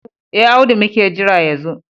E, Audu muke jira ya zo.